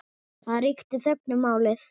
Það ríkti þögn um málið.